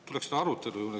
Tuleks arutelu juurde.